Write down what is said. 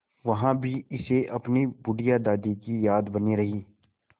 वहाँ भी इसे अपनी बुढ़िया दादी की याद बनी रही